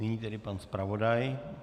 Nyní tedy pan zpravodaj.